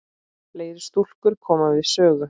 Fleiri stúlkur koma við sögu.